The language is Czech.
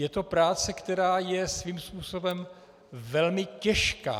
Je to práce, která je svým způsobem velmi těžká.